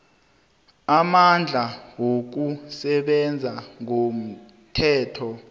amandla wokusebenza ngomthetho